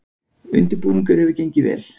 Undirbúningur hefði gengið vel